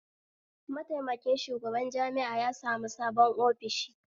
Mataimakin shugaban jami'a ya sami sabon ofishi